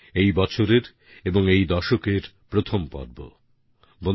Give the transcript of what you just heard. এই বছরের এবং এই দশকের প্রথম মন কি বাত এ মিলিত হচ্ছি